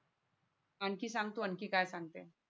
आणखीन संग तू आणखीन काय सांगते.